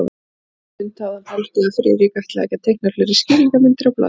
Um stund hafði hann haldið, að Friðrik ætlaði ekki að teikna fleiri skýringarmyndir á blaðið.